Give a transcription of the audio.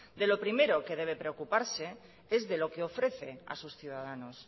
de lo primero que debe preocuparse es de lo que ofrece a sus ciudadanos